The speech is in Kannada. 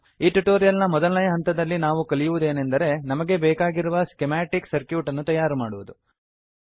ಈ ಟ್ಯುಟೋರಿಯಲ್ ನ ಮೊದಲನೆಯ ಹಂತದಲ್ಲಿ ನಾವು ಕಲಿಯುವುದೇನೆಂದರೆ ನಮಗೆ ಬೇಕಾಗಿರುವ ಸ್ಕಿಮಾಟಿಕ್ ಸರ್ಕ್ಯೂಟ್ ಅನ್ನು ತಯಾರುಮಾಡುವುದು